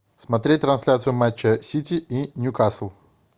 смотреть трансляцию матча сити и ньюкасл